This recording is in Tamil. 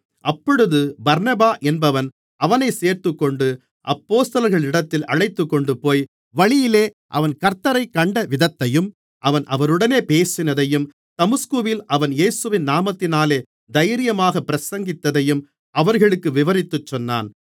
அப்பொழுது பர்னபா என்பவன் அவனைச் சேர்த்துக்கொண்டு அப்போஸ்தலர்களிடத்தில் அழைத்துக்கொண்டுபோய் வழியிலே அவன் கர்த்த்தரைக் கண்ட விதத்தையும் அவர் அவனுடனே பேசினதையும் தமஸ்குவில் அவன் இயேசுவின் நாமத்தினாலே தைரியமாகப் பிரசங்கித்ததையும் அவர்களுக்கு விவரித்துச்சொன்னான்